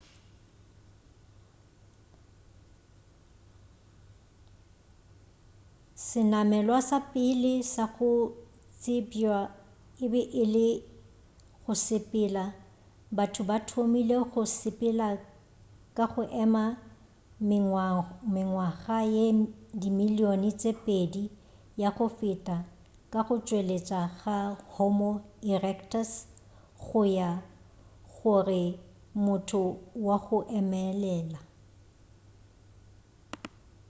senamelwa sa pele sa go tsebjwa e be e le go sepela batho ba thomile go sepela ka go ema mengwaga ye dimilioni tše pedi ya go feta ka go tšwelela ga homo erectus go ra gore motho wa go emelela